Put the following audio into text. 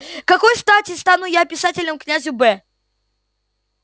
какой стати стану я писателем князю б